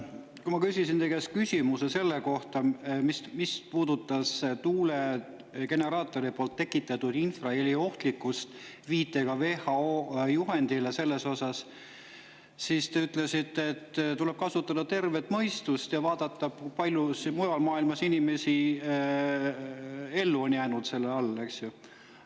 Kui ma küsisin teie käest küsimuse selle kohta, mis puudutas tuulegeneraatori tekitatud infraheli ohtlikkust, viitega WHO juhendile, siis te ütlesite, et tuleb kasutada tervet mõistust ja vaadata, kui palju mujal maailmas on inimesi selle all ellu jäänud.